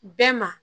Bɛɛ ma